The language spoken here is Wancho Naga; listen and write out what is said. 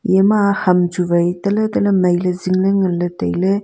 ema ham chu wai tale tale mai ley zing ley ngan ley tai ley.